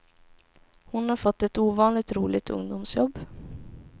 Hon har fått ett ovanligt roligt ungdomsjobb.